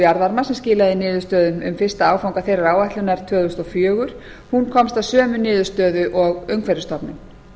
jarðvarma sem skilaði niðurstöðum um fyrsta áfanga þeirrar áætlunar tvö þúsund og fjögur komst að sömu niðurstöðu og umhverfisstofnun